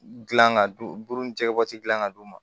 Gilan ka dun buru ni jɛgɛ bɔsilen ka d'u ma